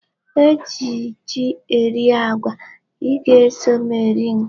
E ji ji eri agwa. I ga-eso m eri nke a.